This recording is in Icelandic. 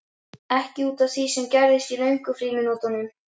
Ekki út af því sem gerðist í löngu frímínútunum.